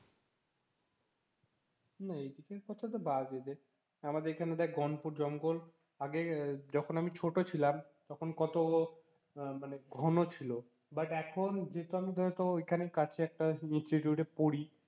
গাছের কথা তো বাদই দে, আমাদের এখানে দেখ গণপুর জঙ্গল আগে যখন আমি ছোট ছিলাম তখন কত আহ মানে ঘন ছিল but এখন যেহেতু আমি ধর তোর ওখানেই কাছে একটা institute এ পড়ি,